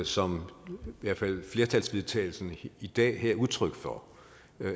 som i hvert fald flertallets vedtagelse her i dag er udtryk for